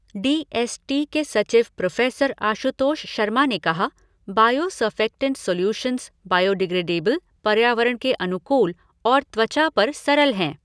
D S T के सचिव professor Ashutosh Sharma ने कहा, बायो सरफ़ेक्टेंट सोल्यूशंस बायोडिग्रेडेबल, पर्यावरण के अनुकूल और त्वचा पर सरल हैं।